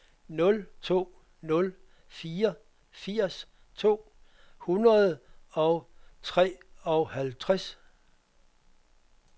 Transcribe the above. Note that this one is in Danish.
nul to nul fire firs to hundrede og treoghalvtreds